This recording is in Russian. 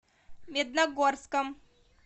медногорском